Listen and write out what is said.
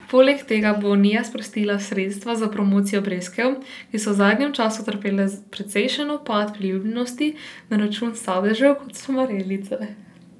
Poleg tega bo unija sprostila sredstva za promocijo breskev, ki so v zadnjem času utrpele precejšen upad priljubljenosti na račun sadežev, kot so marelice.